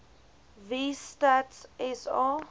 wie stats sa